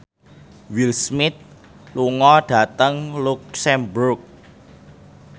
Will Smith lunga dhateng luxemburg